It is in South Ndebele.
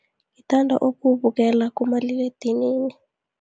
Ngithanda ukuwubukela kumaliledinini.